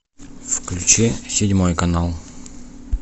включи седьмой канал